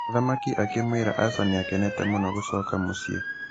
Mũthamaki akĩmwĩra aca nĩakenete mũno gũcoka mũciĩ.